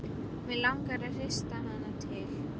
Mig langar að hrista hana til.